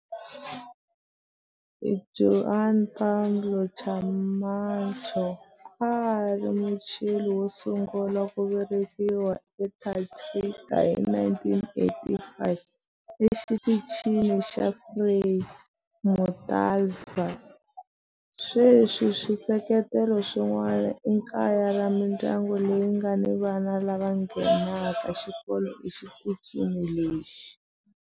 Juan Pablo Camacho a a ri Muchile wo sungula ku velekiwa eAntarctica hi 1984 eXitichini xa Frei Montalva. Sweswi swisekelo swin'wana i kaya ra mindyangu leyi nga ni vana lava nghenaka xikolo exitichini lexi.